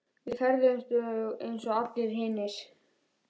Við ferðumst eins og allir hinir.